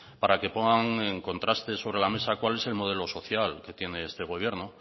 para que pongan en contraste sobre la mesa cuál es el modelo social que tiene este gobierno